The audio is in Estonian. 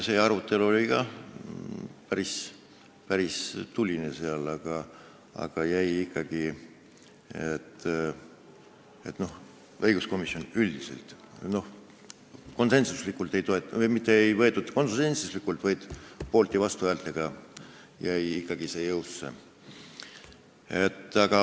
See arutelu oli ka päris tuline, õiguskomisjonis ei võetud seda otsust vastu konsensuslikult, oli poolt- ja vastuhääli.